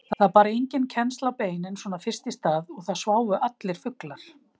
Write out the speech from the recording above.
Það bar enginn kennsl á beinin svona fyrst í stað og það sváfu allir fuglar.